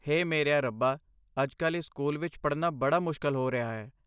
ਹੇ ਮੇਰਿਆ ਰੱਬਾ, ਅੱਜ ਕੱਲ੍ਹ ਇਸ ਸਕੂਲ ਵਿੱਚ ਪੜ੍ਹਨਾ ਬੜਾ ਮੁਸ਼ਕਲ ਹੋ ਰਿਹਾ ਹੈ।